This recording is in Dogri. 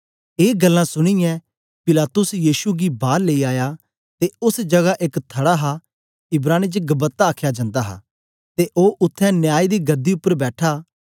ए गल्लां सुनीयै पिलातुस यीशु गी बार लेई आया ते ओस जगा एक थडा हा इब्रानी च गब्बता आख्या जंदा हा ते ओ उत्थें न्याय दी गदी उपर बैठा